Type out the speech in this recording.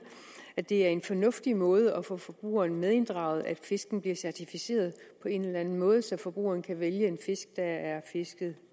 at det er en fornuftig måde at få forbrugeren medinddraget på at fisken bliver certificeret på en eller anden måde så forbrugeren kan vælge en fisk der er fisket